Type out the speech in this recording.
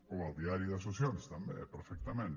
o al diari de sessions també perfectament